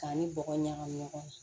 K'an ni bɔgɔ ɲagami ɲɔgɔn na